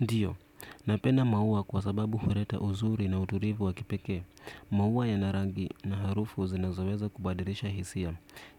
Ndiyo, napenda maua kwa sababu huleta uzuri na utulivu wa kipekee. Maua yana rangi na harufu zinazoweza kubadilisha hisia